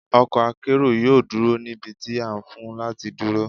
Ọkọ̀ akérò yóò dúró níbi tí a fún láti dúró.